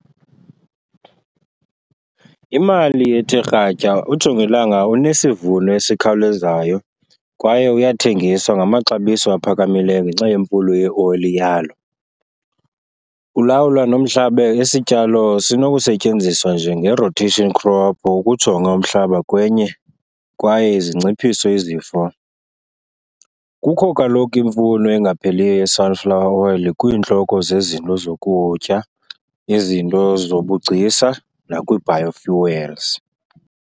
Imali ethe kratya, ujongilanga unesivuno esikhawulezayo kwaye uyathengiswa ngamaxabiso aphakamileyo ngenxa yemfuno yeoli yalo. Ulawula nomhlaba, isityalo sinokusetyenziswa njenge-rotation crop ukujonga umhlaba kwenye kwaye zinciphise izifo. Kukho kaloku imfuno engapheliyo ye-sunflower oil kwiintloko zezinto zokutya, izinto zobugcisa nakwii-biofuels.